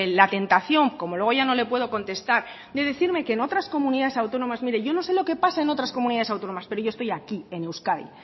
la tentación como luego no le puedo contestar le voy a decirle que en otras comunidades autónomas mire yo no sé lo que pasa en otras comunidades autónomas pero yo estoy aquí en euskadi